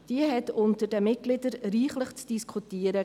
Diese gab unter den Mitgliedern reichlich zu diskutieren.